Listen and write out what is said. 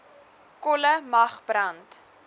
kolle mag brand